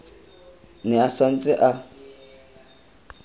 ne a sa ntse a